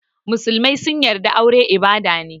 Musulmai sun yarda aure ibada ne.